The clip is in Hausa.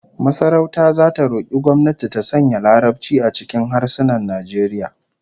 Masarauta zata roki gwamnati ta sanya Larabci a cikin harsunan Najeriya